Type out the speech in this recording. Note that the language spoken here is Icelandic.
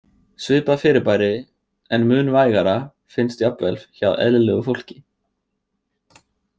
Svipað fyrirbæri, en mun vægara, finnst jafnvel hjá eðlilegu fólki.